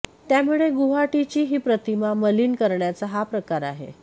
त्यामुळे गुवाहाटीची ही प्रतिमा मलीन करण्याचा हा प्रकार आहे